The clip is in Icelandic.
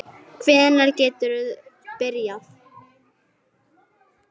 Hvenær geturðu byrjað?